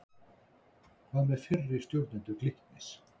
Hvað með fyrri stjórnendur Glitnis?